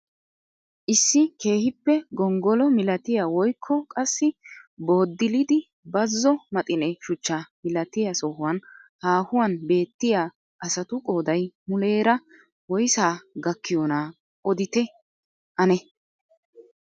Issi keehippe gonggolo milatiyaa woykko qassi booddilidi bazo maxine shuchchaa milatiyaa sohuwaan haahuwaan beettiyaa asatu qooday muleera woysaa gakkiyoonaa odite ane?